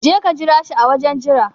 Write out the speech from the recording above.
Jeka ka jira shi a wajen jira